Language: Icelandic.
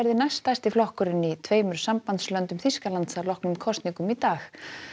næst stærsti flokkurinn í tveimur Þýskalands að loknum kosningum í dag